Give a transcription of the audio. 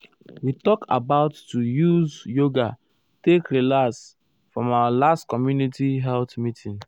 we talk about to use yoga take relax fr erm our last community health meeting.